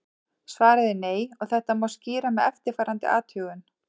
Svarið er nei og þetta má skýra með eftirfarandi athugun.